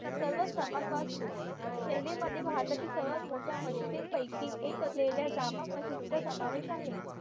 सर्व समान वास्तू शैली मध्ये भारतातील सर्वात मोठया म्हशीदींपैकी एक असलेल्या जामा म्हशीदीचा समावेश आहे